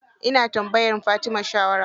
Ina tambayar Fatima shawara.